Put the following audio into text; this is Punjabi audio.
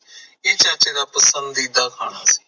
ਇਹ ਚਾਚੇ ਦਾ ਪਸੰਦੀਦਾ ਖਾਣਾ